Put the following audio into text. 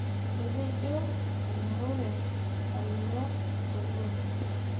Etejo enaure alo sukuul.